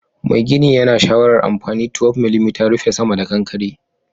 Mai gini yana shawarar anfani 12mm rufe sama da kankare